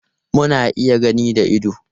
Muna iya gani da ido.